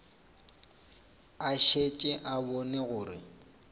a šetše a bone gore